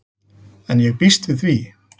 En ég býst við því.